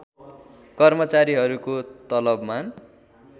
कर्मचारीहरूको तलवमान